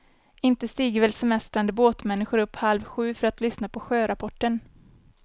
Inte stiger väl semestrande båtmänniskor upp halv sju för att lyssna på sjörapporten.